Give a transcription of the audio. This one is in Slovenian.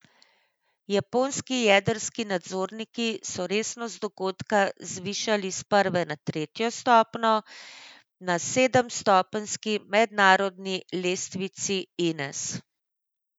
Japonski jedrski nadzorniki so resnost dogodka zvišali s prve na tretjo stopnjo na sedemstopenjski mednarodni lestvici Ines.